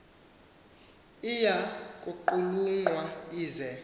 iya kuqulunqwa ize